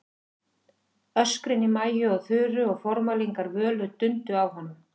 Öskrin í Maju og Þuru og formælingar Völu dundu á honum.